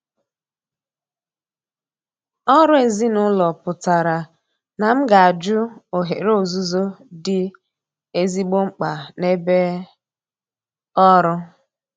Ọrụ ezinụlọ pụtara na m ga-ajụ ohere ọzụzụ dị ezigbo mkpa n'ebe ọrụ.